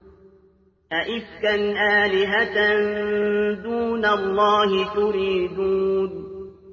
أَئِفْكًا آلِهَةً دُونَ اللَّهِ تُرِيدُونَ